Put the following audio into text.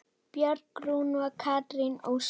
Björg Rún og Katrín Ósk.